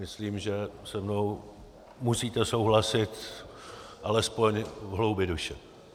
Myslím, že se mnou musíte souhlasit alespoň v hloubi duše.